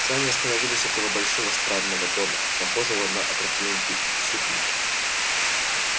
сани остановились около большого странного дома похожего на опрокинутый супник